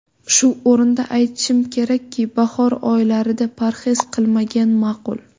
Shu o‘rinda aytishim kerakki, bahor oylarida parhez qilmagan ma’qul.